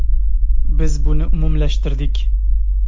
Biz buni umumlashtirdik.